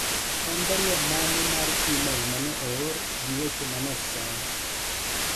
en barua mane mar email mane oor gi weche mane osom